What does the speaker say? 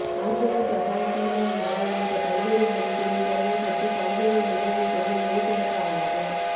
ஆங்கிலம் ஜப்பான் சீனம் மலாய் உள்ளிட்ட பல்வேறு மொழிகளில் புலமைபெற்று பல்வேறு நிகழ்வுகளில் மொழிபெயர்பாளராக